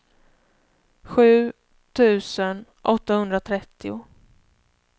sju tusen åttahundratrettio